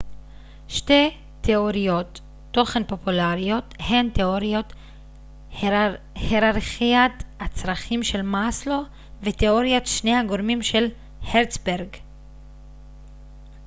שתי תיאוריות תוכן פופולריות הן תאוריית היררכיית הצרכים של מאסלו ותיאוריית שני הגורמים של הרצברג